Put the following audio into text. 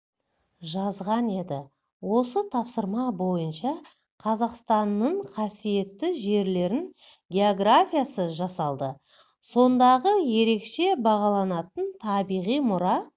жазған еді осы тапсырма бойынша қазақстанның қасиетті жерлерінің географиясы жасалды сондағы ерекше бағаланатын табиғи мұра